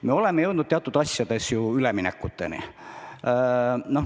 Me oleme jõudnud teatud asjades üleminekuteni.